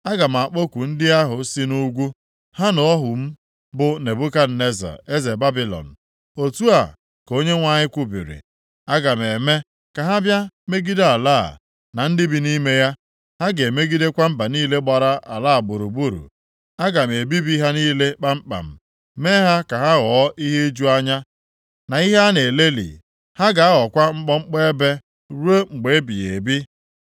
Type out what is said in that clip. Aga m akpọku ndị ahụ si nʼugwu, ha na ohu m bụ Nebukadneza, eze Babilọn.” Otu a ka Onyenwe anyị kwubiri, “Aga m eme ka ha bịa megide ala a, na ndị bi nʼime ya. Ha ga-emegidekwa mba niile gbara ala a gburugburu. Aga m ebibi ha niile kpamkpam, mee ha ka ha ghọọ ihe iju anya, na ihe a na-elelị. Ha ga-aghọkwa mkpọmkpọ ebe ruo mgbe ebighị ebi.